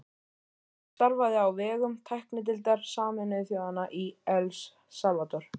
Sveinn starfaði á vegum tæknideildar Sameinuðu þjóðanna í El Salvador